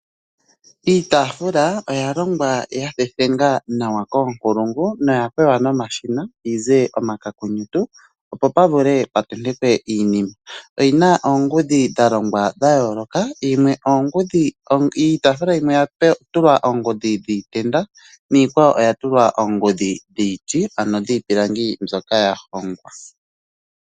Iitaafula oya longwa ya thethengwa nawa koonkulungu noya kweya nomashina yize omakokonyotu opo pa vule pa tentekwe iinima. Oyina oongudhi dha longwa dha yooloka, iitaafula yimwe oya tulwa oongudhi dhiitenda, niikwawo oya tulwa oongudhi dhiiti ano dhiipilangi mbyoka ya hongwa.